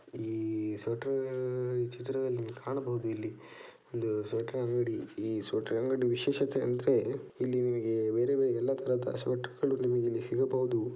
ಇಲ್ಲಿ ಸ್ವೆಟರ್ ಈ ಚಿತ್ರದಲ್ಲಿ ಕಾಣಬಹುದು ಇಲ್ಲಿ ಒಂದು ಸ್ವೆಟರ್ ಅಂಗಡಿ ಸ್ವೆಟರ್ ಅಂಗಡಿ ವಿಶೇಷತೆ ಎಂದರೆ ಇಲ್ಲಿ ನಿಮಗೆ ಬೇರೆ ಬೇರೆ ತರಹ ಎಲ್ಲಾ ತರಹದ ಸ್ವೆಟರ್ಗಳು ನಿಮಗಿಲ್ಲಿ ಸಿಗಬಹುದು .